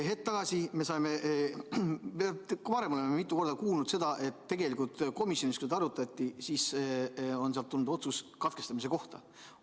Hetk tagasi saime teada ja ka varem oleme mitu korda kuulnud, et tegelikult komisjonist, kui seda arutati, tuli otsus katkestamise kohta.